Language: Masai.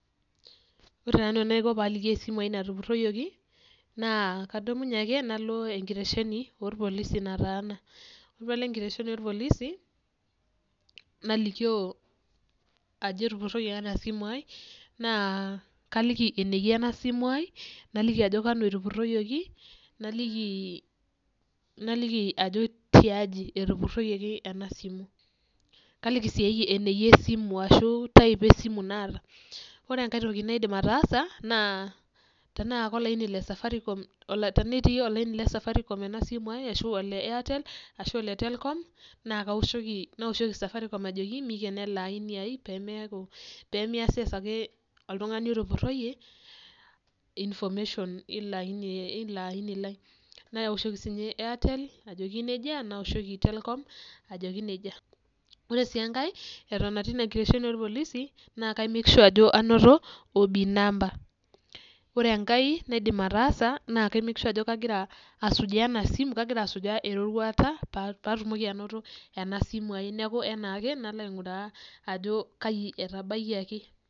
Ore taa ntoki naiko paalikie esimu natupurroyioki naa kadumunye ake nalo enkiresheni olpolisi nataana. Ore paalo nkiresheni olpolisi nalikio ajo etupuroyeki ena simuai naa kaliki eneyiaa ana simuai, naliki ajo kanu etupuroyioki, naliki ajo tiaji etupuroyioki ena esimu. Kaliki sii eneiya esimu ashu etaip esimu naata. Ore enkae toki naidim ataasa naa tanaa apa ilaini le safaricom, tenetii olaini le safaricom ena simuai ashu ole airtel ashu ole telcom naa kaoshoki ,naoshoki safaricom ajoki meikeno ale aini ai pemeaku, pemeasieki ake oltungani otupuroiye information eilo aini lai. Naoshoki sii ninye airtel ajoki neja, naoshoki telcom ajoki neja. Ore sii enkae eton atii ina nkiresheni olpolisi naa kaimek shua ajo anoto [cs[OB number. Ore enkae naidim ataasa na kaimek shua ajo kagira asujaa ana esimu, kagira asujaa eroruata paatumoki anoto ena simui ai neaku naaake nalo aing'uraa ajo kaji etabaiyaki.